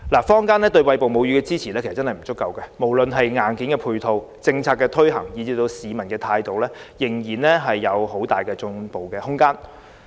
坊間對餵哺母乳的支援確實不足，無論在硬件配套、政策推行，以至市民的態度，仍有很大進步空間。